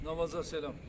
Namaza salam.